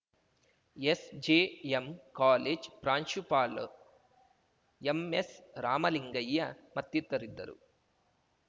SJM college ಪ್ರಾಂಶುಪಾಲ್ M S Ramalingaiah ಮತ್ತಿತರಿದ್ದರು